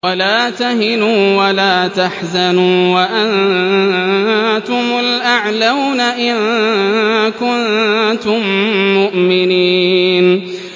وَلَا تَهِنُوا وَلَا تَحْزَنُوا وَأَنتُمُ الْأَعْلَوْنَ إِن كُنتُم مُّؤْمِنِينَ